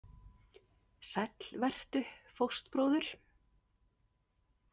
Sæll vertu, fóstbróðir.